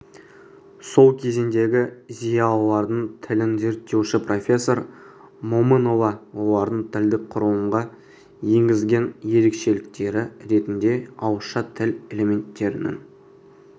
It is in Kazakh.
сол кезеңдегі зиялылардың тілін зерттеуші профессор момынова олардың тілдік құрылымға енгізген ерекшеліктері ретінде ауызша тіл элементтерінің